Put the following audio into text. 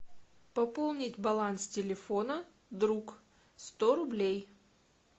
пополнить баланс телефона друг сто рублей